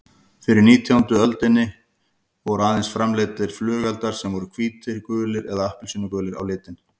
Fyrir nítjándu öldina voru aðeins framleiddir flugeldar sem voru hvítir, gulir eða appelsínugulir á litinn.